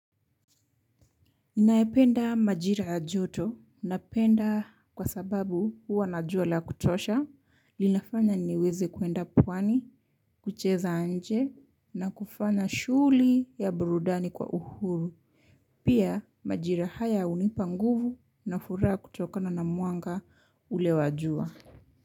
Nayapenda majira ya joto, napenda kwa sababu huwa na jua la kutosha, linafanya niweze kwenda pwani, kucheza nje na kufanya shughuli za burudani kwa uhuru pia majira haya hunipa nguvu na furaha kutokana na mwanga ule wa jua.